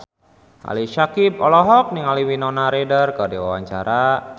Ali Syakieb olohok ningali Winona Ryder keur diwawancara